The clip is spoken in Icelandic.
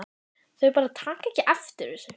Þau bara taka ekki eftir þessu.